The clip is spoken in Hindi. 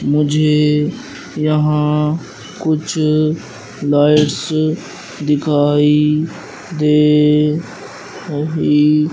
मुझे यहां कुछ लाइट्स दिखाई दे रही--